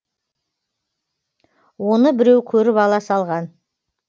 оны біреу көріп ала салған